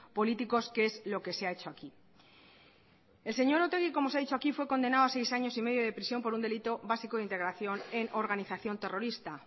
políticos que es lo que se ha hecho aquí el señor otegi como se ha dicho aquí fue condenado a seis años y medio de prisión por un delito básico de integración en organización terrorista